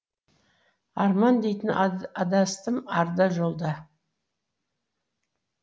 арман дейтін адастым арда жолда